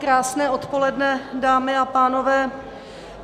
Krásné odpoledne, dámy a pánové.